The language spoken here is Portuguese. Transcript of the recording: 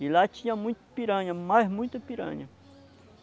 E lá tinha muita piranha, mas muita piranha.